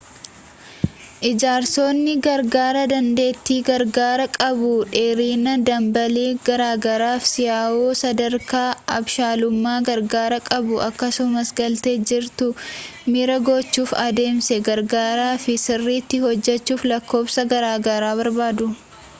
ijaarsonni garaagaraa dandeettii garaagaraa qabu dheerina-dambalii garaagraaf si'aawoo sadarkaa abshaalummaa garaagaraa qabu akkasumas galtee jirutti miira gochuuf adeemsa garaagaraa fi sirriitti hojjechuuf lakkoofsota garaagaraa barbaadu